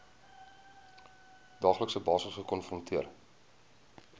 daaglikse basis gekonfronteer